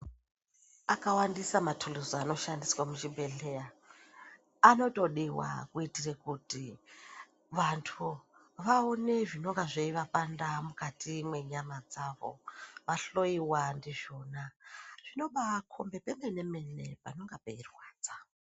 Akawandisa mathuluzi anoshandiswa muzvibhedhleya. Anotodiwa kuitire kuti vandhu vaone zvinonga zveivapanda mukati mwenyama dzavo, vahloyiwa ndizvona. Zvinobaakhombe pemene-mene panonga peirwadza.